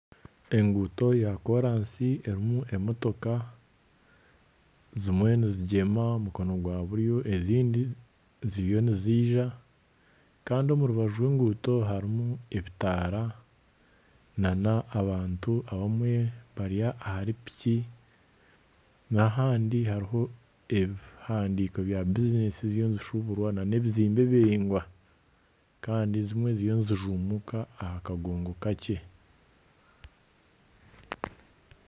Enguuto ya koorasi erimu emotoka, zimwe nizigyema omukono gwa buryo ezindi ziriyo niziija kandi omu rubaju rw'enguuto harimu ebitaara n'abantu abamwe bari ahari piki n'ahandi hariho ebihandiiko bya bizineesi z'ebishuburwa n'ebizimbe biraingwa kandi zimwe ziriyo nizijumbuka aha kagongo kakye!